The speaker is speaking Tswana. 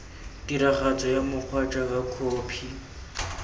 tiragatso ya mokgwa jaaka khophi